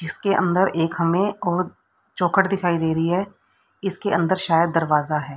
इसके अंदर एक हमें और चौखट दिखाई दे रही है। इसके अंदर शायद दरवाजा है।